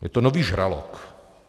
Je to nový žralok.